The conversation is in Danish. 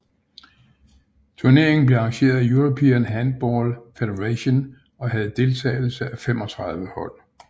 Turneringen blev arrangeret af European Handball Federation og havde deltagelse af 35 hold